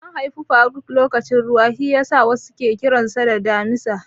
An haifi faruk lokacin ruwa shiyasa wasu ke kiranshi Damina.